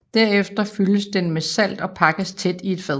Derefter fyldes den med salt og pakkes tæt i et fad